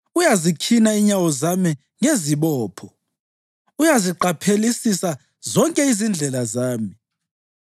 Uyazikhina inyawo zami ngezibopho; uyaziqaphelisisa zonke izindlela zami.’